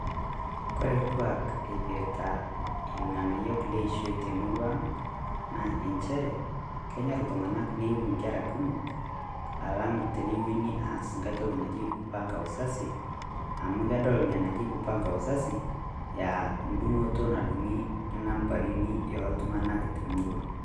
Kore lkuak eipirta ilng'anayok leishoi te murrua ang,' naa encheere kenyorr ltung'ana niyeu nkerra kumook alang tenewuen neaas nkai ntoki najii kupanga uzazi amu kedol enia najii kupanga uzazi ea dung'uto naduung'i nambarini e ltung'anak te murrua.